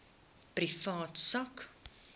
private sak